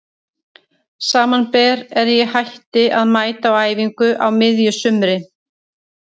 Samanber er ég hætti að mæta á æfingar á miðju sumri.